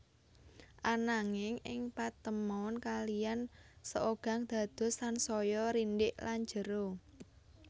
Ananging ing patemon kalihan Seogang dados sansaya rindhik lan jero